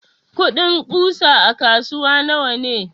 kudin ƙusa a kasuwa nawane?